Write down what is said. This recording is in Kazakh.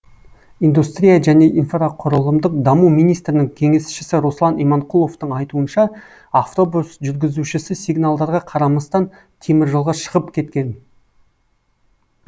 индустрия және инфрақұрылымдық даму министрінің кеңесшісі руслан иманқұловтың айтуынша автобус жүргізушісі сигналдарға қарамастан теміржолға шығып кеткен